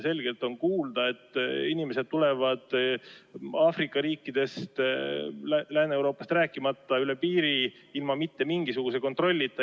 Selgelt on kuulda, et inimesed tulevad Aafrika riikidest, Lääne‑Euroopast rääkimata, üle piiri ilma mingisuguse kontrollita.